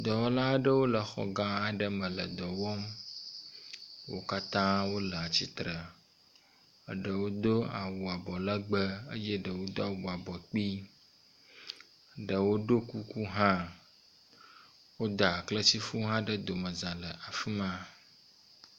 Dɔwɔla aɖewo le xɔ gã aɖe me le dɔ wɔm. Wo katã wo le atsitre. Ɖewo do awu abɔlegbe eye eɖewo do awu abɔ kpi. Ɖewo ɖo kuku hã. Woda kletifu aɖe ɖe domeza afi ma.